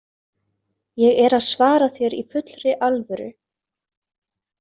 Ég er að svara þér í fullri alvöru.